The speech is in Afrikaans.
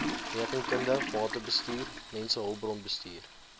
rekeningkunde batebestuur mensehulpbronbestuur